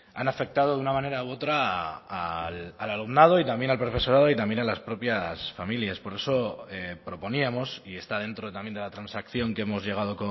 han afectado de una manera u otra al alumnado y también al profesorado y también a las propias familias por eso proponíamos y está dentro también de la transacción que hemos llegado